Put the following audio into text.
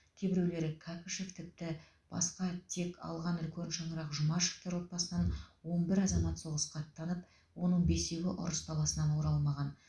кейбіреулері кәкішов тіптен басқа тек алған үлкен шаңырақ жұмашевтар отбасынан он бір азамат соғысқа аттанып оның бесеуі ұрыс даласынан оралмаған